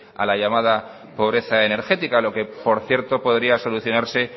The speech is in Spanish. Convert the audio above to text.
a la llamada pobreza energética lo que por cierto podría solucionarse